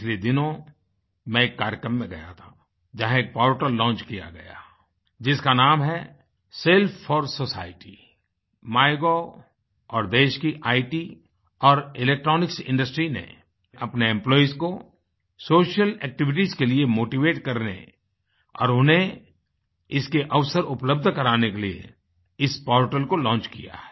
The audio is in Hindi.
पिछले दिनों मैं एक कार्यक्रम में गया था जहाँ एक पोर्टल लॉन्च किया गया है जिसका नाम है सेल्फ 4 सोसाइटी MyGovऔर देश की इत और इलेक्ट्रॉनिक्स इंडस्ट्री ने अपने एम्प्लॉइज को सोशल एक्टिविटीज के लिए motivateकरने और उन्हें इसके अवसर उपलब्ध कराने के लिए इस पोर्टल को लॉन्च किया है